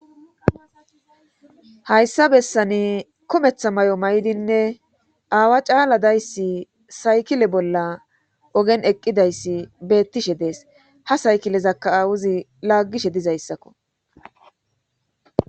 hayssa bessani kometha may7o may7dinne aawa caala dayssi saykile bolla ogen eqqidayssi beettishe dees ha saykilezakka awuzi laaggishe dizayssakko